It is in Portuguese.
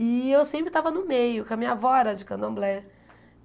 E eu sempre estava no meio, que a minha avó era de candomblé.